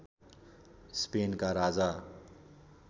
स्पेनका राजा